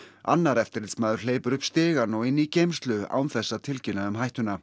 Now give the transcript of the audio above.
annar eftirlitsmaður hleypur upp stigann og inn í geymslu án þess að tilkynna um hættuna